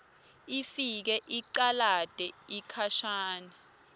ifike icalate sikhashana